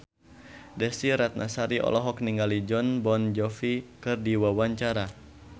Desy Ratnasari olohok ningali Jon Bon Jovi keur diwawancara